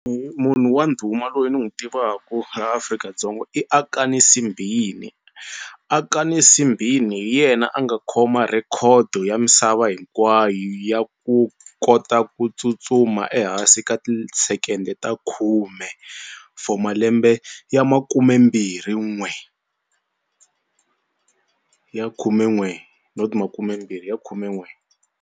Munhu wa ndhuma loyi ni n'wi tivaku la Afrika-Dzonga i Akani Simbine. Akani Simbine hi yena a nga khoma rhekhodo ya misava hinkwayo ya ku kota ku tsutsuma ehansi ka ti-second ta khume for malembe ya makumembirhin'we ya khumen'we not makumembirhi ya khumen'we.